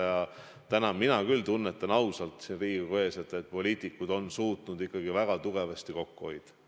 Ja täna mina küll tõesti tunnetan siin Riigikogu ees, et poliitikud on suutnud ikkagi väga tugevasti kokku hoida.